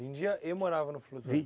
Vendia e morava no flutuante?